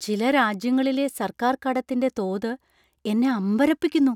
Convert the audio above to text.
ചില രാജ്യങ്ങളിലെ സർക്കാർ കടത്തിന്‍റെ തോത് എന്നെ അമ്പരപ്പിക്കുന്നു.